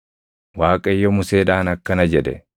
Waaqayyo Museedhaan akkana jedhe;